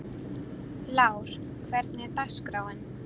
Lár, hvernig er dagskráin?